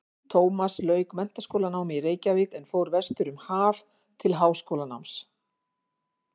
Tómas lauk menntaskólanámi í Reykjavík en fór vestur um haf til háskólanáms.